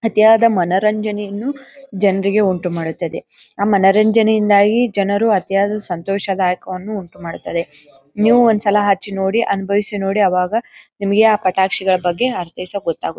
ಅತಿಯಾದ ಮನೋರಂಜನೆಯನ್ನು ಜನರಿಗೆ ಉಂಟು ಮಾಡುತ್ತದೆ. ಆ ಮನೋರಂಜನೆಯಿಂದಾಗಿ ಜನರು ಅತಿಯಾದ ಸಂತೋಷದಾಯಕವನ್ನು ಉಂಟು ಮಾಡುತ್ತದೆ. ನೀವು ಒಂದ್ ಸಲ ಹಚ್ಚಿ ನೋಡಿ ಅನುಭವಿಸಿ ನೋಡಿ ಅವಾಗ ನಿಮಗೆ ಆ ಕಟಾಕ್ಷಗಳ ಬಗ್ಗೆ ಗೊತ್ತಾಗುತ್ತೆ.